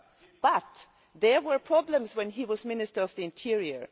However, there were problems when he was Minister of the Interior.